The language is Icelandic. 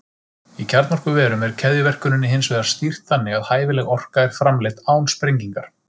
Í kjarnorkuverum er keðjuverkuninni hins vegar stýrt þannig að hæfileg orka er framleidd án sprengingar.